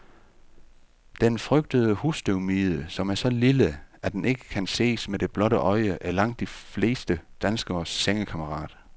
Den frygtede husstøvmide, som er så lille, at den ikke kan ses med det blotte øje, er langt de fleste danskeres sengekammerat.